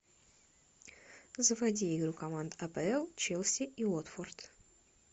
заводи игру команд апл челси и уотфорд